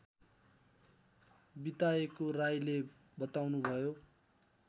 बिताएको राईले बताउनुभयो